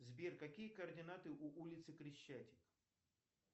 сбер какие координаты у улицы крещатик